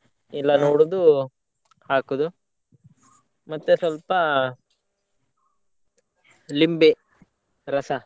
ಎಲ್ಲನೂ ಹುರ್ದು ಹಾಕೋದು ಮತ್ತೆ ಸ್ವಲ್ಪ ಲಿಂಬೆ ರಸ.